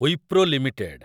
Wipro limited